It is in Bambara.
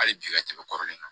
Hali bi ka tɛmɛ kɔrɔlen kan